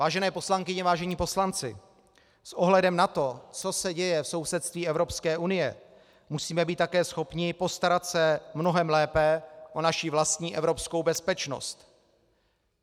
Vážené poslankyně, vážení poslanci, s ohledem na to, co se děje v sousedství Evropské unie, musíme být také schopni postarat se mnohem lépe o naši vlastní evropskou bezpečnost.